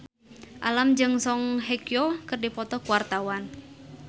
Alam jeung Song Hye Kyo keur dipoto ku wartawan